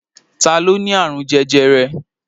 Ta ló ní àrùn jẹjẹrẹ?